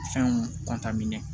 Fɛnw minɛ